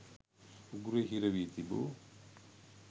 උගුරේ හිරවී තිබූ